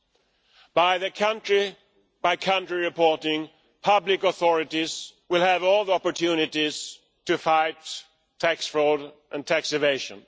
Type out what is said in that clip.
With country by country reporting, public authorities will have all the opportunities to fight tax fraud and tax evasion.